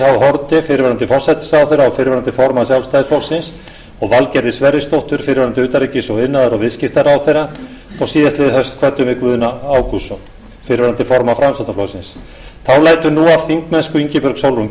haarde fyrrverandi forsætisráðherra og fyrrverandi formann sjálfstæðisflokksins og valgerði sverrisdóttur fyrrverandi utanríkis og iðnaðar og viðskiptaráðherra og síðastliðið haust kvöddum við guðna ágústsson fyrrverandi formann framsóknarflokksins þá lætur nú af þingmennsku ingibjörg sólrún